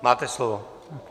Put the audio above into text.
Máte slovo.